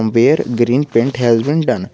Where green paint has been done.